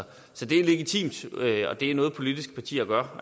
så det er legitimt og det er noget politiske partier gør